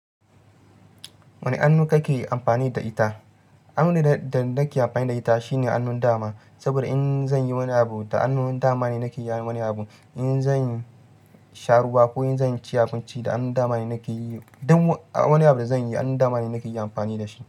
Wane annu kake amfani da ita? Annu da nake amfani da ita shine annon dama, saboda in zan yi wani abu da annon dama ne nake wani abu. In zan sha ruwa ko in zan ci hakunci da annon dama ne nake yi, duk wani abu da zan yi annon dama ne nake yi amfani da shi.